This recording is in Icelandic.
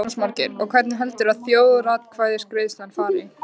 Jónas Margeir: Og hvernig heldurðu að þjóðaratkvæðagreiðslan fari?